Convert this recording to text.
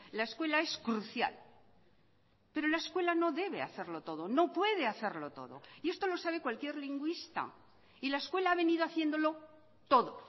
la escuela es crucial pero la escuela no debe hacerlo todo no puede hacerlo todo y esto lo sabe cualquier lingüista y la escuela ha venido haciéndolo todo